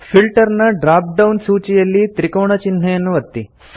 filter ನ drop down ಸೂಚಿಯಲ್ಲಿ ತ್ರಿಕೋಣ ಚಿಹ್ನೆಯನ್ನು ಒತ್ತಿ